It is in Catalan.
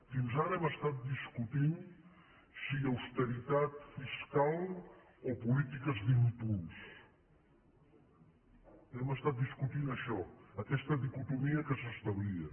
fins ara hem estat discutint si austeritat fiscal o polítiques d’impuls hem estat discutint això aquesta dicotomia que s’establia